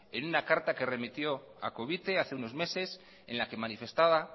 en una carta que remitió a covite hace unos meses en la que manifestaba